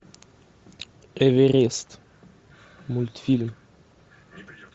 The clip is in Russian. эверест мультфильм